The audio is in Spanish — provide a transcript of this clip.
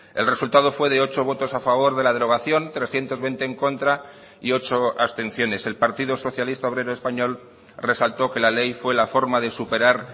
el resultado fue de ocho votos a favor de la derogación trescientos veinte en contra y ocho abstenciones el partido socialista obrero español resaltó que la ley fue la forma de superar